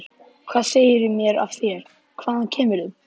Hvað segirðu mér af þér, hvaðan kemur þú?